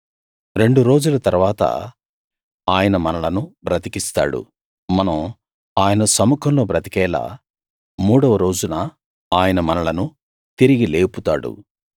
రెండు రోజుల తరువాత ఆయన మనలను బ్రతికిస్తాడు మనం ఆయన సముఖంలో బ్రతికేలా మూడవ రోజున ఆయన మనలను తిరిగి లేపుతాడు